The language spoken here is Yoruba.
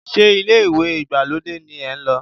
Ṣé ilé ìwẹ̀ ìgbàlódé ni ẹ ń lò?